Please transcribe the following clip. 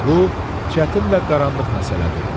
Bu çətin və qaranlıq məsələdir.